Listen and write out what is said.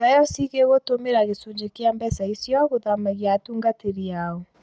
dayosi gĩgũtũmĩra gĩchũnjĩ gĩa mbeca icio gũthamagia atungatĩri ao